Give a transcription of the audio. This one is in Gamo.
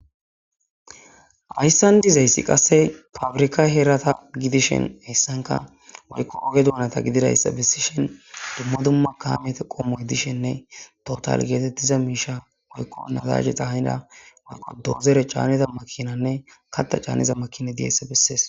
Ayssan dizayssi qasse fabrika herata gidishen hessanka woykko oge duunata gididayssa bessishen dumma dumma kaamete qommoy dishenne total geetettiza miisha woykko nazaje xahanida woykqo doozere caanniza makinanne katta caanniza makine diyesa bessees.